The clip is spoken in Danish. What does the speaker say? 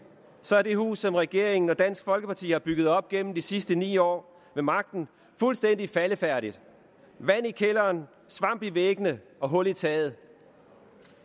er det hus som regeringen og dansk folkeparti har bygget op gennem de sidste ni år ved magten fuldstændig faldefærdigt vand i kælderen svamp i væggene og hul i taget